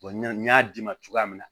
n y'a d'i ma cogoya min na